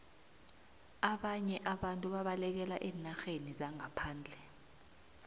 ababnye abantu babalekela eenarheni zangaphandle